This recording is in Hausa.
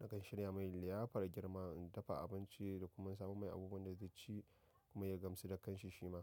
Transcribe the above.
nakan shirya mai liyafar girma, in dafa abinci da kuma in samo mai abubuwan da zai ci kuma ya gamsu da kanshi shi ma.